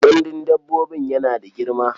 Gandun dabbobin yana da girma.